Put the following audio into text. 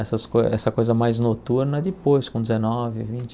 Essas coi essa coisa mais noturna depois, com dezenove, vinte